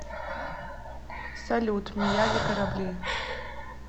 салют мияги корабли